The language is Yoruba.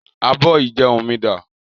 Abọ́ ìjẹun mi dà?